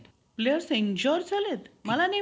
players injure झालेत? मला नाही